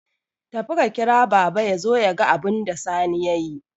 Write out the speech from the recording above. Tafi ka kira baba yazo yaga abunda Sani yayi